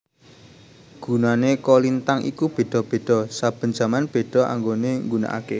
Gunane kolintang iku beda beda saben jaman beda anggone nggunakake